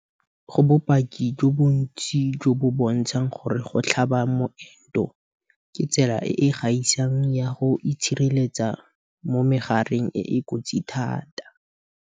Go bopaki jo bontsi jo bo bontshang gore go tlhaba moento ke tsela e e gaisang ya go itshireletsa mo megareng e e kotsi thata.